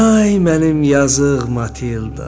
Ay mənim yazıq Matildam.